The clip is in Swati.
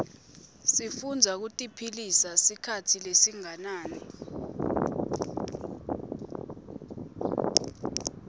sifuitbza kutsitiphila sikhatsi lesinganani